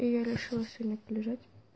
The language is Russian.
и я решила сегодня полежать